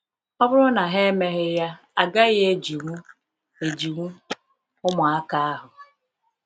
Ọ bụrụ na ha emeghị ya, agaghị ejiwu ejiwu ụmụaka ahụ.